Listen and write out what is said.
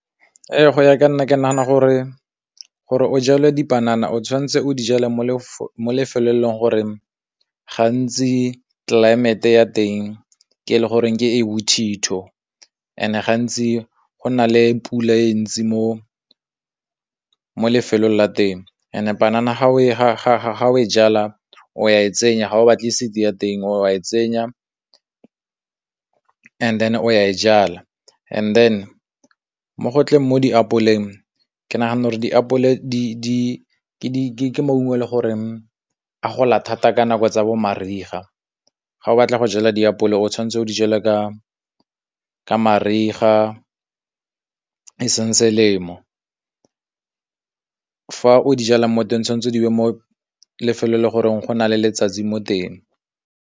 go ya ka nna ke nagana gore, gore o jale dipanana o tshwanetse o di jale mo lefelong le e leng gore gantsi tlelaemete ya teng ke e le goreng ke e bothitho ene gantsi go na le pula e ntsi mo mo lefelong la teng, ene banana ga o e ga o e jala, o ya e tsenya ga o batle seed ya teng, oa e tsenya and then o ya e jala, and then mo gotleng mo diapole eng ke nagana gore diapole ke maungo e le goreng a gola thata ka nako tsa bo mariga, ga o batla go jala diapole o tshwanetse o di jale ka ka mariga e seng selemo, o di jalang mo teng tshwanetse di mo lefelong le goreng go na le letsatsi mo teng.